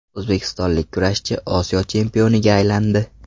O‘zbekistonlik kurashchi Osiyo chempioniga aylandi.